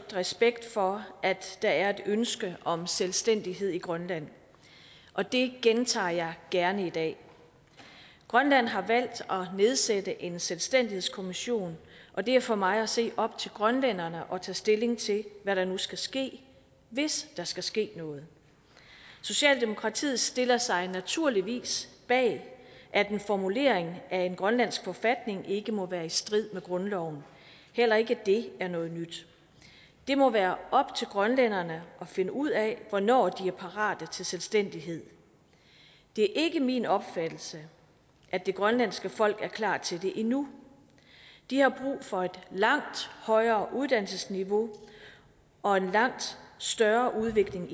respekt for at der er et ønske om selvstændighed i grønland og det gentager jeg gerne i dag grønland har valgt at nedsætte en selvstændighedskommission og det er for mig at se op til grønlænderne at tage stilling til hvad der nu skal ske hvis der skal ske noget socialdemokratiet stiller sig naturligvis bag at en formulering af en grønlandsk forfatning ikke må være i strid med grundloven heller ikke det er noget nyt det må være op til grønlænderne at finde ud af hvornår de er parate til selvstændighed det er ikke min opfattelse at det grønlandske folk er klar til det endnu de har brug for et langt højere uddannelsesniveau og en langt større udvikling